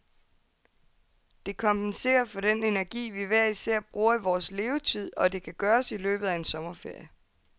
Det kompenserer for den energi, vi hver især bruger i vores levetid, og det kan gøres i løbet af en sommerferie.